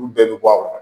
Olu bɛɛ bɛ bɔ a kɔnɔ